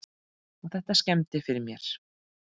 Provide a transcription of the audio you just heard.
Og þetta skemmdi fyrir mér.